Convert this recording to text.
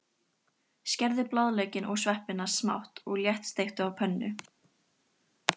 Skerðu blaðlaukinn og sveppina smátt og léttsteiktu á pönnu.